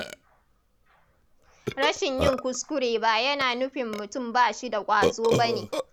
Rashin yin kuskure ba yana nufin mutum ba shi da ƙwazo ba ne.